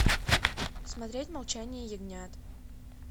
смотреть молчание ягнят